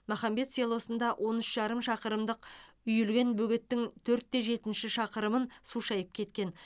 махамбет селосында он үш жарым шақырымдық үйілген бөгеттің төрт те жетінші шақырымын су шайып кеткен